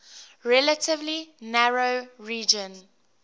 relatively narrow region